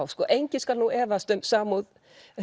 enginn skal nú efast samúð